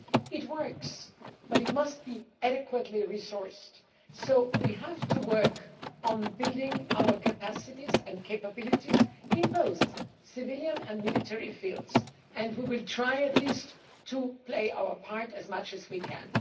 It works, but it must be adequately resourced, so we have to work on building our capacities and capabilities in both the civilian and military fields, and we will try at least to play our part as much as we can.